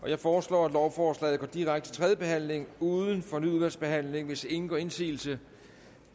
jeg foreslår at lovforslaget går direkte til tredje behandling uden fornyet udvalgsbehandling hvis ingen gør indsigelse